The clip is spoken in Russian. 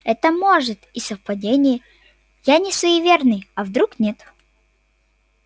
это может и совпадения я не суеверный а вдруг нет